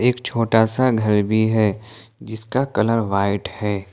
एक छोटा सा घर भी है जिसका कलर व्हाइट है।